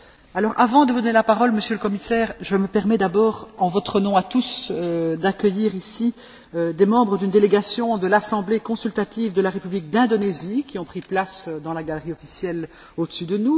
Avant de vous donner la parole, Monsieur le Commissaire, je me permets d'abord, en notre nom à tous, d'accueillir ici des membres d'une délégation de l'assemblée consultative de la République d'Indonésie, qui ont pris place dans la galerie officielle au dessus de nous.